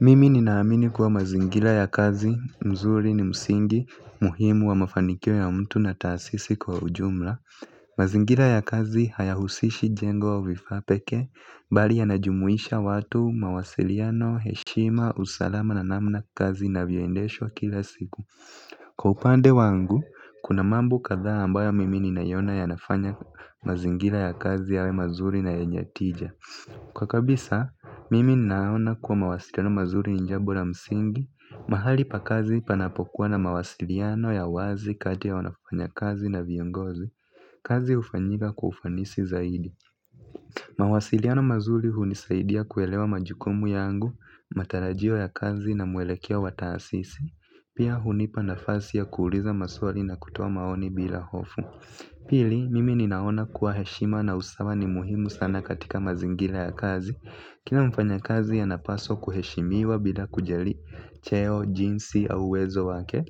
Mimi ninaamini kuwa mazingira ya kazi mzuri ni msingi muhimu wa mafanikio ya mtu na taasisi kwa ujumla. Mazingira ya kazi hayahusishi jengo wa vifaa pekee, bali yanajumuisha watu, mawasiliano, heshima, usalama, na namna kazi inavyoendeshwa kila siku. Kwa upande wangu kuna mambo kadhaa ambayo mimi ninayona yanafanya mazingira ya kazi yawe mazuri na yenye tija. Kwa kabisa, mimi naona kuwa mawasiliano mazuri ni jambo na msingi, mahali pa kazi panapokuwa na mawasiliano ya wazi kati ya wanafanya kazi na viongozi, kazi hufanyika kwa ufanisi zaidi. Mawasiliano mazuri hunisaidia kuelewa majukumu yangu, matarajio ya kazi na mwelekeo wa taasisi, pia hunipa nafasi ya kuuliza maswali na kutoa maoni bila hofu. Pili, mimi ninaona kuwa heshima na usawa ni muhimu sana katika mazingira ya kazi. Kina mfanyakazi anapaswa kuheshimiwa bila kujali cheo, jinsi au uwezo wake.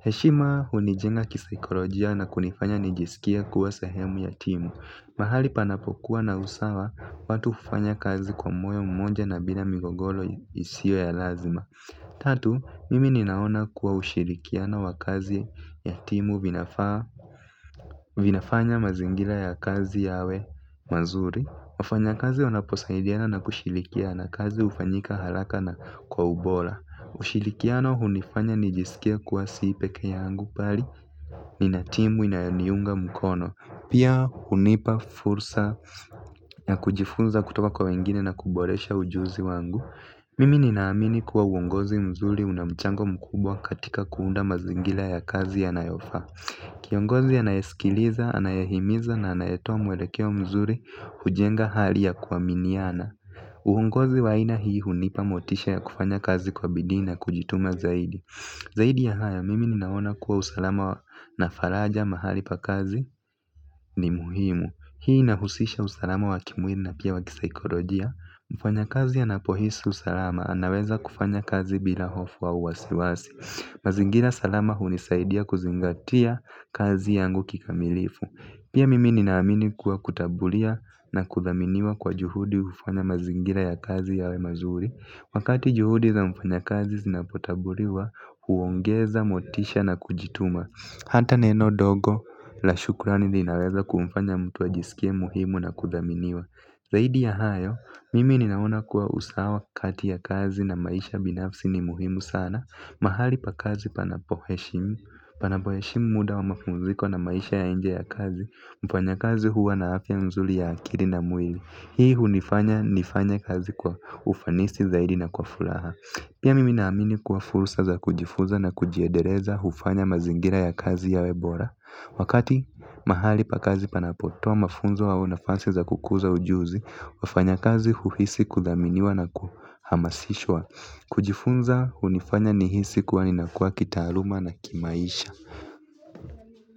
Heshima hunijenga kisaikolojia na kunifanya nijisikie kuwa sahemu ya timu. Mahali panapokuwa na usawa, watu hufanya kazi kwa moyo mmoja na bila migogoro isio ya lazima. Tatu, mimi ninaona kuwa ushirikiano wa kazi ya timu vinafanya mazingira ya kazi yawe mazuri wafanyakazi wanaposaidiana na kushilikiana kazi hufanyika haraka na kwa ubora. Ushilikiano hunifanya nijisikie kuwa si pekee yangu bali nina timu inayoniunga mkono. Pia hunipa fursa ya kujifunza kutoka kwa wengine na kuboresha ujuzi wangu Mimi ninaamini kuwa uongozi mzuri una mchango mkubwa katika kuunda mazingira ya kazi yanayofaa. Kiongozi anayesikiliza, anayahimiza na anayetoa mwelekeo mzuri hujenga hali ya kuaminiana. Uongozi wa aina hii hunipa motisha ya kufanya kazi kwa bidii na kujituma zaidi. Zaidi ya haya, mimi ninaona kuwa usalama na faraja mahali pa kazi ni muhimu. Hii inahusisha usalama wa kimwili na pia wa kisaikolojia. Mfanyakazi anapohisi usalama, anaweza kufanya kazi bila hofu au wasiwasi. Mazingira salama hunisaidia kuzingatia kazi yangu kikamilifu. Pia mimi ninaamini kuwa kutambulia na kuthaminiwa kwa juhudi hufanya mazingira ya kazi yawe mazuri. Wakati juhudi za mfanyakazi zinapotambuliwa huongeza motisha na kujituma. Hata neno dogo, la shukurani linaweza kumfanya mtu ajisikie muhimu na kuthaminiwa. Zaidi ya hayo, mimi ninaona kuwa usawa kati ya kazi na maisha binafsi ni muhimu sana. Mahali pa kazi panapo heshimu, panapo heshimu muda wa mapumziko na maisha ya nje ya kazi, mfanyakazi huwa na afya nzuri ya akili na mwili. Hii hunifanya nifanye kazi kwa ufanisi zaidi na kwa furaha. Pia mimi naamini kuwa furua za kujifunza na kujiedeleza hufanya mazingira ya kazi yawe bora. Wakati mahali pa kazi panapotoa mafunzo au nafasi za kukuza ujuzi, wafanya kazi uhisi kudhaminiwa na kuhamasishwa. Kujifunza hunifanya nihisi kuwa ninakua kitaaluma na kimaisha.